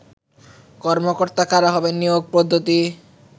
কর্মকর্তা কারা হবেন, নিয়োগ পদ্ধতি